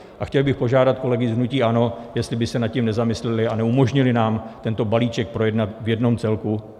A chtěl bych požádat kolegy z hnutí ANO, jestli by se nad tím nezamysleli a neumožnili nám tento balíček projednat v jednom celku.